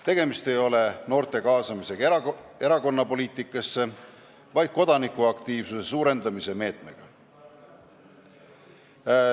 Tegemist ei ole noorte kaasamisega erakonnapoliitikasse, vaid kodanikuaktiivsuse suurendamise meetmega.